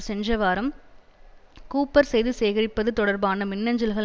சென்ற வாரம் கூப்பர் செய்தி சேகரிப்பது தொடர்பான மின்னஞ்சல்கள்